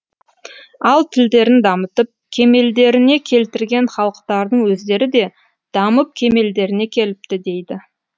ал тілдерін дамытып кемелдеріне келтірген халықтардың өздері де дамып кемелдеріне келіпті дейді